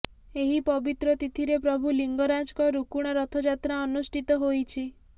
ଏହି ପବିତ୍ର ତିଥିରେ ପ୍ରଭୁ ଲିଙ୍ଗରାଜଙ୍କ ରୁକୁଣା ରଥଯାତ୍ରା ଅନୁଷ୍ଠିତ ହୋଇଛି